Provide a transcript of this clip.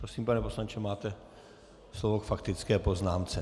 Prosím, pane poslanče, máte slovo k faktické poznámce.